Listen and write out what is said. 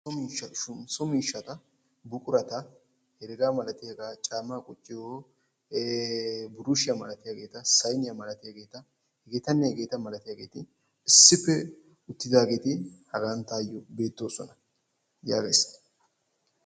So miishshatta buquratta caama wottiyo buqurattinne saynnetti issi bolla beetosonna.